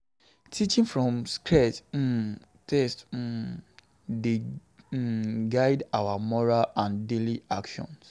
Teachings from sacred um texts um dey um guide our morals and daily actions.